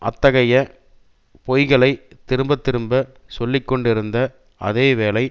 அத்தகைய பொய்களை திரும்பத்திரும்ப சொல்லிக்கொண்டிருந்த அதே வேளை